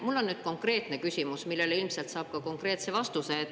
Mul on nüüd konkreetne küsimus, millele ilmselt saab ka konkreetse vastuse.